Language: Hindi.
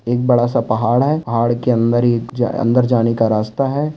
एक बड़ा - सा पहाड़ है। पहाड़ के अंदर ही अंदर जाने का रास्ता है।